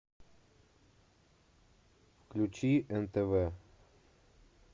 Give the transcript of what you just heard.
включи нтв